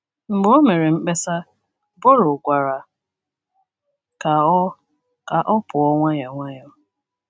Mgbe o mere mkpesa, Borrow gwara ka ọ ka ọ pụọ nwayọọ nwayọọ.